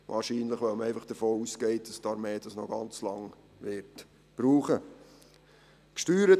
Wahrscheinlich weil man einfach davon ausgeht, dass die Armee das Areal noch ganz lange brauchen wird.